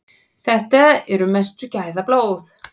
Þetta eru mestu gæðablóð.